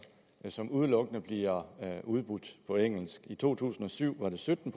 som udelukkende bliver udbudt på engelsk i to tusind og syv var det sytten